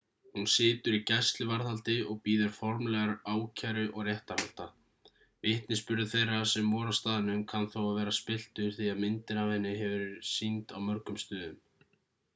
hún situr í gæsluvarðhaldi og bíður formlegrar ákæru og réttarhalda vitnisburður þeirra sem voru á staðnum kann þó að vera spilltur því að myndin af henni hefur verið sýnd á mörgum stöðum